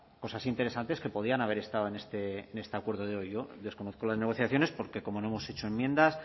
cosas interesantes que podían haber estado en este acuerdo de hoy yo desconozco las negociaciones porque como no hemos hecho enmiendas